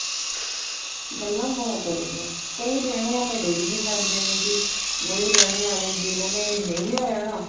ਗੱਲਾ ਬਹੁਤ ਹੋ ਜਾਂਦੀਆਂ ਕਈ ਰਹਿਣੇ ਵਾਲੇ ਰਹੀ ਵੀ ਜਾਂਦੇ ਨੇ ਜੀ ਨਹੀਂ ਰਹਿਣੇ ਵਾਲੇ ਜਿਹਨਾ ਨੇ ਨਹੀਂ ਓ ਰਹਿਣਾ